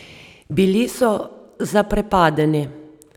Bili so zaprepadeni.